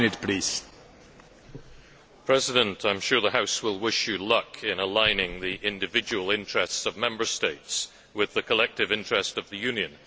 Mr President, I am sure the House will wish Mr Barroso luck in aligning the individual interests of Member States with the collective interest of the Union.